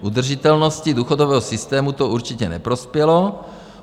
Udržitelnosti důchodového systému to určitě neprospělo.